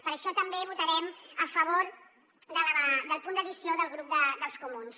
per això també votarem a favor del punt d’addició del grup dels comuns